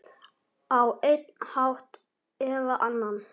Á einn hátt eða annan.